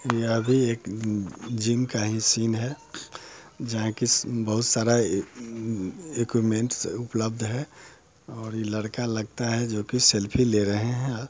यह भी एक जिम का ही सीन है जहा के बहुत सारा अ एकुमेंस उपलब्ध है और ये लड़का लगता है जोकि सेल्फी ले रहे है। अ--